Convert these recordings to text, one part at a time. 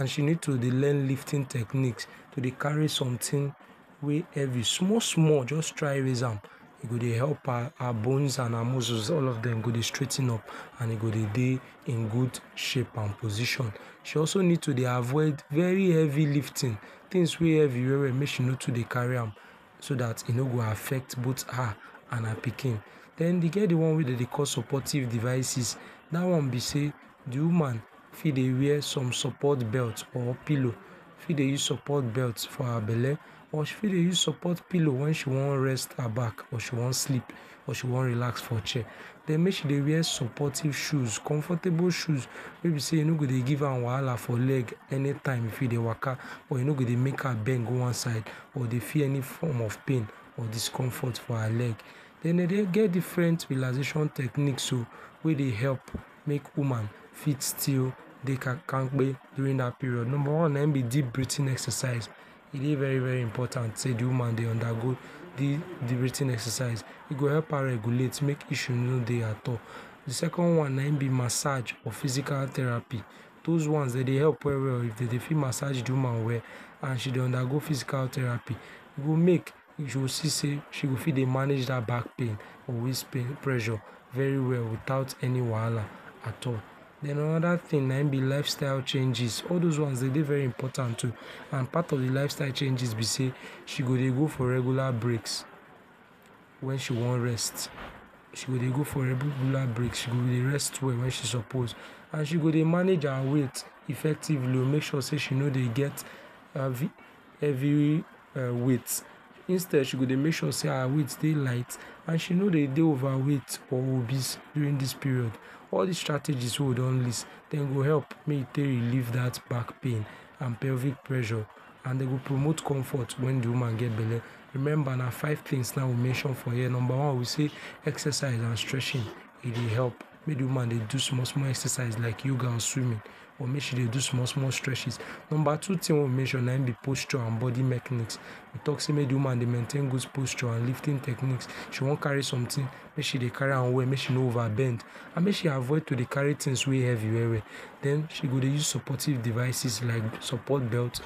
and she need to dey learn lifting techniques, to dey carry sometins wey heavi small small jus try raise am e go dey help her, her bones and her muscles, all of dem go dey straigh ten up and dey dey in good shape and position, she also need to dey avoid very heavi lifting, tins wey heavi we-we make she no too dey carri am so dat e no go affect both her and her pikin den e get di wan wey dem dey call supportive devices, dat one be say di woman fit dey wear some supportive belt or pillow, fit dey use support belt for her belle or fit dey use support pillow wen she one rest her back or she wan sleep or she wan relax for chair, den mek she dey wear supportive shoes, comfortable shoes wey be sey e no go dey give am wahala for leg anytime if e dey waka or e no go dey mek am bend go wan side or dey feel any form of pain or discomfort for her leg den dey get different relaxation techniques oh wey dey help mek woman still dey kampka during dat period, number one na im be deep breathing exercise, e dey very very important sey de woman dey undergo deep breathing exercise, e go help am regulate mek issue no dey at all. Di second wan na im be massaj or physical therapy dos wan dey dey help we-we oh, if dey fit massaj di woman well and she dey undergo physical therapy, e mek you go see sey she go fit dey manage that back pain or waist pain pressure very well without any wahala at all, den anoda ting na im be lifestyle changes, all dos wan dey dey very important oh and part of di lifestyle changes be sey she go dey go for regular breaks wen she wan rest, she go dey go for regular breaks, she go dey rest well wen she suppose and she go dey manage her weight effectively mek sure sey she no dey heavi weight instead she go dey mek sure sey her weight dey light and she no dey dey overweight or obese during dis period. All dis strategy wey we don list dem go help mek you take relieve dat back pain and heavi pressure and dem go promote comfort wen di woman get belle remember na five tings na we mention for here, number one we say exercise and stretching e dey help mek di woman dey do small small exercise like yoga or swimming or mek she dey do small small stretching, number two tin wey we mention na be posture and bodi mechanics, we tok sey mek di woman dey maintain good posture and lifting techniques, if she wan carri some ting, mek she carri am well, mek she no over bend and make she avoid to dey carri tings wey heavi we-we, den she go dey use supportive devices like support belt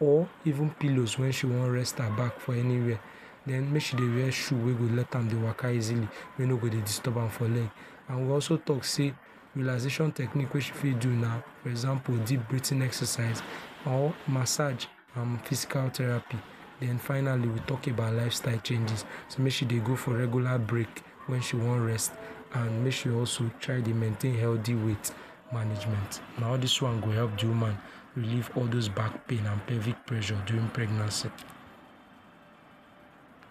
or evening pillows wen she wan rest her back for anywhere den mek she dey wear shoe wey go let am waka easily, wey no go dey disturb am for leg and we also tok sey relaxation techniques wey she fit do na example deep breathing exercises or massaj and physical therapy and finally we tok about lifestyle changes mek she dey go for regular breaks wen she wan rest and also mek she try dey maintain health weight management na all dis wan go help di woman relieve all dos back pain and heavi pressure during pregnancy.